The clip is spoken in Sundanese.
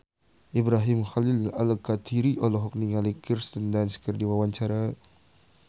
Ibrahim Khalil Alkatiri olohok ningali Kirsten Dunst keur diwawancara